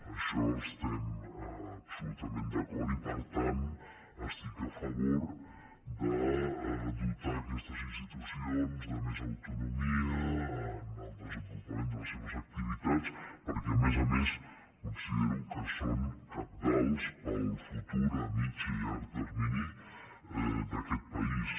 amb això estem absolutament d’acord i per tant estic a favor de dotar aquestes institucions de més autonomia en el desenvolupament de les seves activitats perquè a més a més considero que són cabdals per al futur a mitjà i a llarg termini d’aquest país